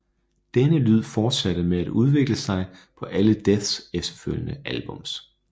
Denne lyd fortsatte med at udvikle sig på alle Deaths efterfølgende albums